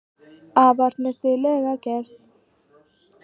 Afar snyrtilega gert